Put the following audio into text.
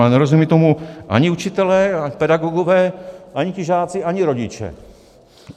Ale nerozumějí tomu ani učitelé, pedagogové, ani ti žáci, ani rodiče.